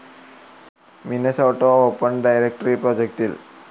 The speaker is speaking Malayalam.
Minnesota open directory പ്രൊജക്റ്റിൽ